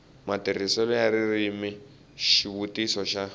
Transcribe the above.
matirhiselo ya ririmi xivutiso xa